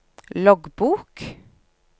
loggbok